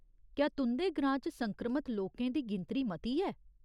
क्या तुं'दे ग्रां च संक्रमत लोकें दी गिनतरी मती ऐ ?